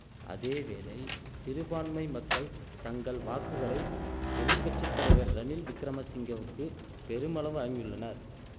அதேவேளை சிறுபான்மை மக்கள் தங்கள் வாக்குகளை எதிர் கட்சி தலைவர் ரணில் விக்கிரம சிங்கவுக்கு பெருமளவு வழங்கியுள்ளனர்